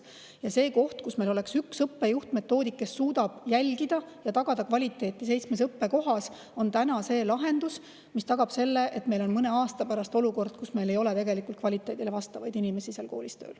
Ja see, et meil on üks õppejuht-metoodik, kes suudab jälgida, et kvaliteet oleks seitsmes õppekohas tagatud, on lahendus, mis tagab, et meil mõne aasta pärast olukord, kus meil ei ole kvaliteedi vastavaid inimesi nendes koolides tööl.